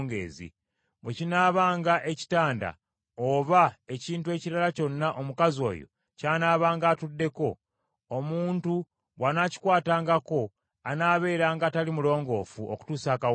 Bwe kinaabanga ekitanda oba ekintu ekirala kyonna omukazi oyo ky’anaabanga atuddeko, omuntu bw’anaakikwatangako anaabeeranga atali mulongoofu okutuusa akawungeezi.